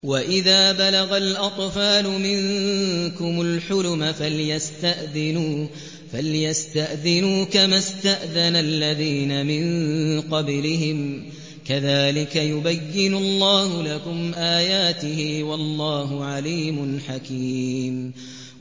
وَإِذَا بَلَغَ الْأَطْفَالُ مِنكُمُ الْحُلُمَ فَلْيَسْتَأْذِنُوا كَمَا اسْتَأْذَنَ الَّذِينَ مِن قَبْلِهِمْ ۚ كَذَٰلِكَ يُبَيِّنُ اللَّهُ لَكُمْ آيَاتِهِ ۗ وَاللَّهُ عَلِيمٌ حَكِيمٌ